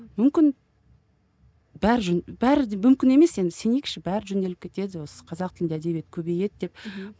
мүмкін бәрі бәрі мүмкін емес енді сенейікші бәрі жөнделіп кетеді осы қазақ тілді әдебиет көбейеді деп мхм